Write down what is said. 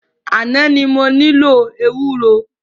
Àná ni mo nílò ewúro.